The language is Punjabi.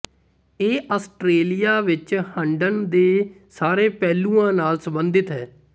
ਇਹ ਆਸਟ੍ਰੇਲੀਆ ਵਿਚ ਹੰਢਣ ਦੇ ਸਾਰੇ ਪਹਿਲੂਆਂ ਨਾਲ ਸੰਬੰਧਿਤ ਹੈ